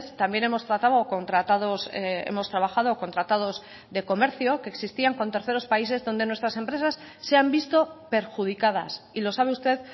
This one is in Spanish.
también hemos tratado o con tratados hemos trabajado con tratados de comercio que existían con terceros países donde nuestras empresas se han visto perjudicadas y lo sabe usted